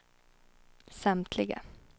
samtliga